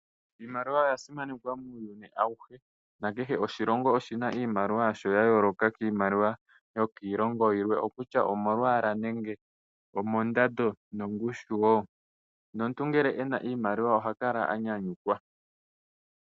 Iimaliwa oya simanekwa muuyuni awuhe nakehe oshilongo oshina iimaliwa yasho ya yooloka kiimaliwa yo kiilongo yilwe, okutya omolwaala, ondando nomongushu wo nomuntu ngele ena iimaliw oha kala anyanyukwa.